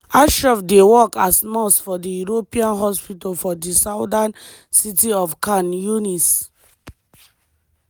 ashraf dey work as nurse for di european hospital for di southern city of khan younis.